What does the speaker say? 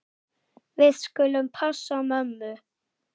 Við skulum passa mömmu.